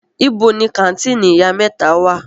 Ibo ni kàńtìnì Ìyá mẹ́ta wà?